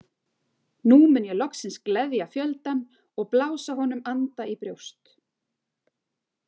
Nú mun ég loksins gleðja fjöldann og blása honum anda í brjóst.